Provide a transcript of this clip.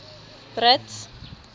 brits